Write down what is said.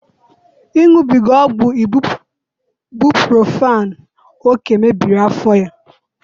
Iṅụbiga ọgwụ ibuprofen oke mmebiri afọ ya